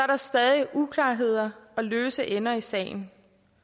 der stadig uklarheder og løse ender i sagen